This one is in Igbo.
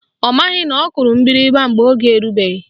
Ọ maghị na ọ kụrụ mgbịrịgba mgbe oge erubeghị